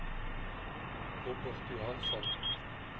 Robert Johansson